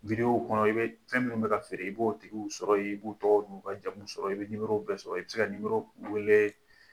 kɔnɔ i bɛ fɛn minnu bɛ ka feere, i b'o tigiw sɔrɔ yen, i b'o tɔgɔ n'u ka jamu sɔrɔ yen, i bɛ numɔrɔ bɛɛ sɔrɔ yen, i bɛ se ka numɔrɔwele